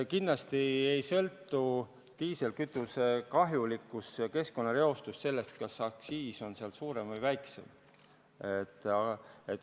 Kindlasti ei sõltu diislikütuse kahjulikkus ja keskkonnareostus sellest, kas aktsiis on suurem või väiksem.